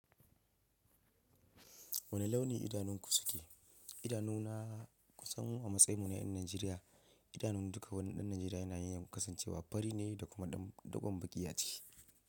Wane launi idanunku suke? Idanu na kusan a matsayin mu na yan Nijeriya. Idanun duka wani ɗan Nijeriya yana yin kasancewa fari ne da kuma dugon baki aciki.